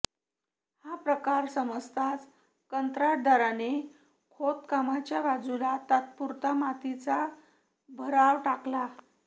हा प्रकार समजताच कंत्राटदाराने खोदकामाच्या बाजूला तात्पुरता मातीचा भराव टाकला